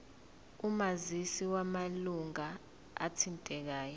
omazisi wamalunga athintekayo